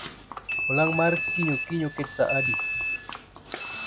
Olang' mar kiny okinyi oket sa adi